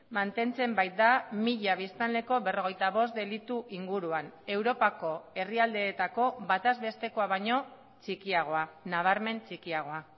mantentzen baita mila biztanleko berrogeita bost delitu inguruan europako herrialdeetako bataz bestekoa baino txikiagoa nabarmen txikiagoa